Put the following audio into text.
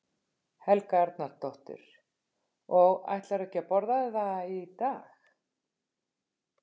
Helga Arnardóttir: Og ætlarðu ekki að borða það í dag?